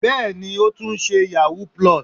Bẹ́ẹ̀ni, ó tún ṣe yahoo+.